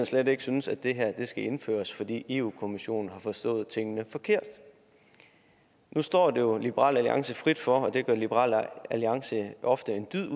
slet ikke synes at det her skal indføres fordi europa kommissionen har forstået tingene forkert nu står det jo liberal alliance frit for at det gør liberal alliance ofte en dyd af